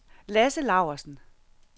Lasse Laursen